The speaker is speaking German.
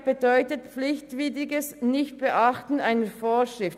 Fahrlässigkeit bedeutet pflichtwidriges Nichtbeachten einer Vorschrift.